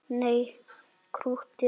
Nei, krúttið þitt, svaraði ég.